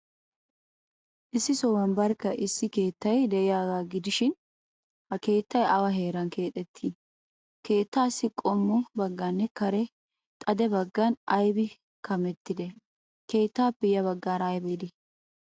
Issi sohuwan barkka issi keettay de'iyaagaa gidishin, ha keettay awa heeran keexettii? Keettaassi qommo baggaynne xade baggay aybin kamettidee? Keettaappe yabaggaara aybi de'ii?